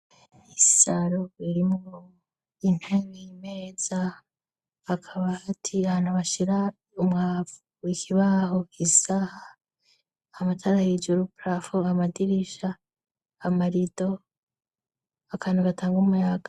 Isaro irimwo intebe imeza hakaba hagaati ahantu bashira umwavu ikibaho, isaha amatara hejuru parafo amadirisha, amarido akantu gatanga umuyaga.